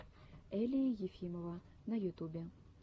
элия ефимова на ютубе